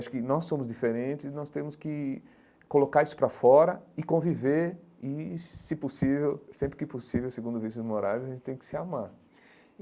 Acho que nós somos diferentes e nós temos que colocar isso para fora e conviver e, se possível, sempre que possível, segundo o Vicente Moraes, a gente tem que se amar.